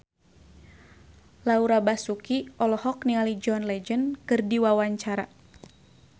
Laura Basuki olohok ningali John Legend keur diwawancara